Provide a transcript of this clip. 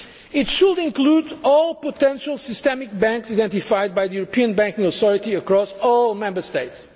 steps. It should include all potentially systemic banks identified by the European Banking Authority across all Member States.